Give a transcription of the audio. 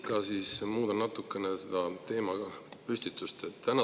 Ma muudan natukene seda teemapüstitust.